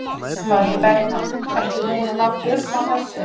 Logi Bergmann: Ertu búinn að ná tökum á þessu?